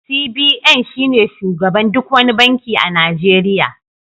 CBN shine shugaban duk wani banki a Najeriya